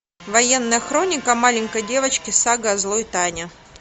военная хроника маленькой девочки сага о злой тане